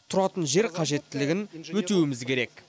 тұратын жер қажеттілігін өтеуіміз керек